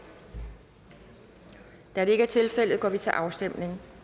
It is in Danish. da det ikke er tilfældet går vi til afstemning